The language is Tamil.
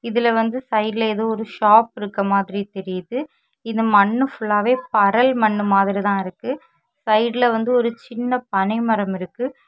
இதுல வந்து சைடுல ஏதோ ஒரு ஷாப் இருக்க மாதிரி தெரியுது இந்த மண்ணு ஃபுல்லாவே பரல் மண்ணு மாதிரி தான் இருக்கு சைடுல வந்து ஒரு சின்ன பனைமரம் இருக்கு.